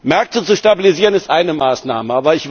Märkte zu stabilisieren ist eine Maßnahme.